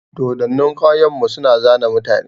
Dodonnin ƙauyan mu su na zane mutane.